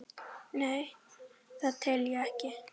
Nei, það tel ég ekki.